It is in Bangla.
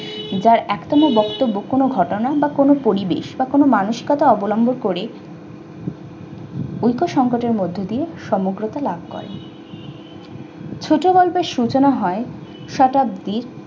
যার এখনো বক্তব্য কোনো ঘটনার বা কোন পরিবেশ বা কোন মানসিকতা অবলম্বন করে ঐক্য সংকোচন এর মধ্য দিয়ে সমগ্রত লাভ করা। ছোটগল্পর সূচনা হয় শতাব্দী